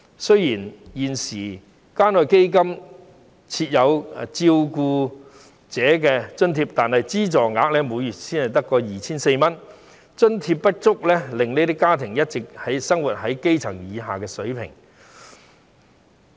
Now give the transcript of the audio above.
雖然現時關愛基金設有照顧者津貼，但資助額每月只有 2,400 元，津貼不足，令這些家庭一直生活在基本水平以下。